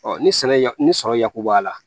ni sɛnɛ ya ni sɔrɔ yakubaya la